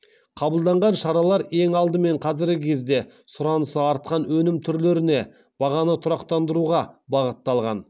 қабылданған шаралар ең алдымен қазіргі кезде сұранысы артқан өнім түрлеріне бағаны тұрақтандыруға бағытталған